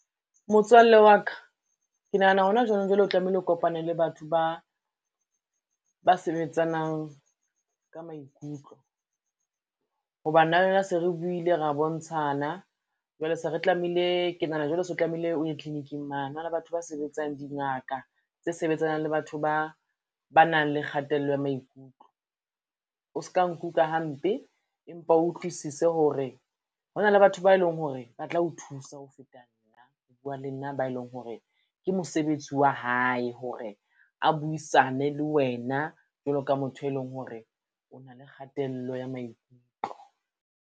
Motswalle wa ka, ke nahana hona jwanong jwale o tlamehile o kopane le batho ba ba sebetsanang ka maikutlo, ho ba nna le wena se re buile, ra bontshana jwale ke nahana jwale se o tlamehile o ye tlikiniking mane, ho na le batho ba sebetsang dingaka tse sebetsanang le batho ba nang le kgatello ya maikutlo. O ska nkuka hampe, empa o utlwisise hore ho na le batho ba eleng hore ba tla o thusa ho feta nna, ho bua le nna ba e leng hore ke mosebetsi wa hae hore a buisane le wena jwalo ka motho e leng hore o na le kgatello ya maikutlo.